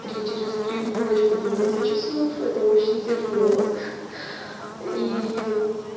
три через три в ночь по двенадцать часов это очень тяжело и